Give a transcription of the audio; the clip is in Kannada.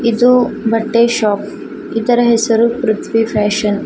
ಇದು ಬಟ್ಟೆ ಶಾಪ್ ಇದರ ಹೆಸರು ಪೃಥ್ವಿ ಫ್ಯಾಷನ್ .